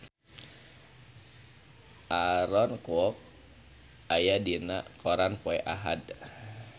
Aaron Kwok aya dina koran poe Ahad